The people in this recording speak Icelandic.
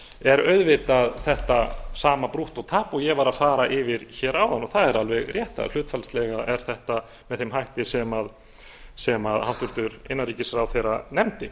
er auðvitað þetta sama brúttótapið og ég var að fara yfir áðan það er alveg rétt að hlutfallslega er þetta með þeim hætti sem hæstvirtur innanríkisráðherra nefndi